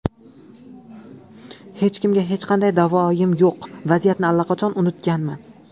Hech kimga hech qanday da’voyim yo‘q, vaziyatni allaqachon unutganman.